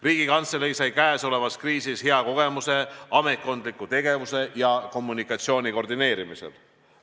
Riigikantselei on käesolevas kriisis saanud hea kogemuse ametkondliku tegevuse ja kommunikatsiooni koordineerimisel.